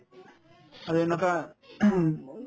আৰু এনেকুৱা